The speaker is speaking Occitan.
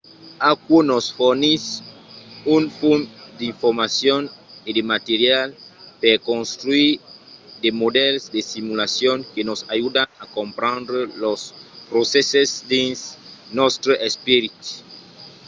aquò nos fornís un fum d’informacion e de material per contruire de modèls de simulacion que nos ajudan a comprendre los procèsses dins nòstre esperit